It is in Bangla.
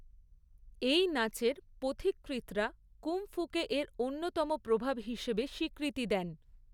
এই নাচের পথিকৃৎরা কুংফুকে এর অন্যতম প্রভাব হিসেবে স্বীকৃতি দেন।